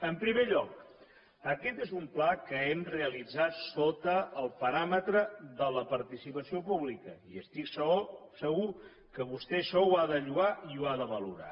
en primer lloc aquest és un pla que hem realitzat sota el paràmetre de la participació pública i estic segur que vostè això ho ha de lloar i ho ha de valorar